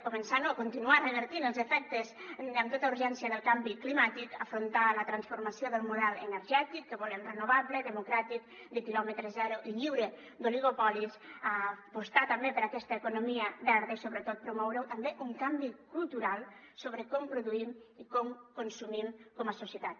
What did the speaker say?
començar no continuar revertint els efectes amb tota urgència del canvi climàtic afrontar la transformació del model energètic que volem renovable democràtic de quilòmetre zero i lliure d’oligopolis apostar també per aquesta economia verda i sobretot promoure també un canvi cultural sobre com produïm i com consumim com a societat